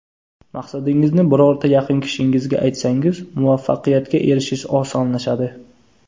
Maqsadingizni birorta yaqin kishingizga aytsangiz, muvaffaqiyatga erishish osonlashadi.